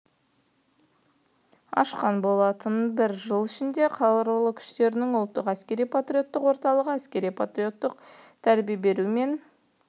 түрде ашқан болатын бір жыл ішінде қарулы күштерінің ұлттық әскери-патриоттық орталығы әскери-патриоттық тәрбие беру мен